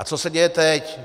A co se děje teď.